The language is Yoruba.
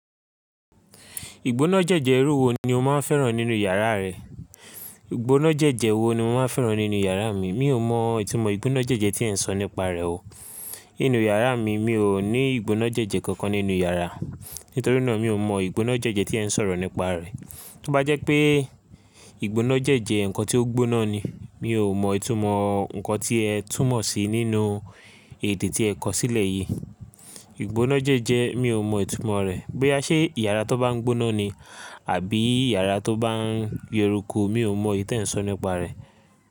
Ìgbóná jẹ́jẹ irú wo ni o máa ń fẹ́ràn nínú yàrá rẹ? Ìgbóná jẹ́jẹ wo ni mo máa ń fẹ́ràn nínú yàrá mi? Mi ò mọ ìtumọ̀ ìgbóná jẹ́jẹ tí ẹ ń sọ nípa rẹ̀ o. Nínú yàrá mi, mi ò ní ìgbóná jẹ́jẹ kankan nínú yàrá. Nítorí náà mi ò mọ ìgbóná jẹ́jẹ tí ẹ ń sọ̀rọ̀ nípa rẹ̀. Tí ó bá jẹ́ pé ìgbóná jẹ́jẹ ǹkan tí ó gbóná ni, mi ò mọ ìtumọ̀ ǹkan tí ẹ túmọ̀ sí nínú èdè tí ẹ kọ sílẹ̀ yìí. Ìgbóná jẹ́jẹ mi ò mọ ìtumọ̀ rẹ̀. Bí a ṣe ìyàrá tó bá ń gbóná ni, àbí yàrá tó bá ń yérúku mi ò mọ ìtẹ̀ ń sọ nípa rẹ̀